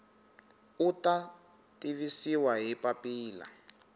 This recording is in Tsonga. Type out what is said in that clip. u ta tivisiwa hi papila